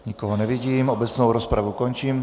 Nikoho nevidím, obecnou rozpravu končím.